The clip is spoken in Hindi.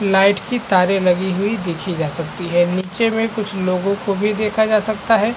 लाइट की तारे लगी हुई देखी जा सकती है। निचे मे कुछ लोगो को भी देखा जा सकता है।